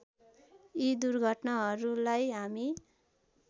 यी दुर्घटनाहरूलाई हामी